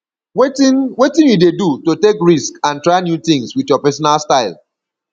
wetin wetin you dey do to take risk and try new tings with your pesinal style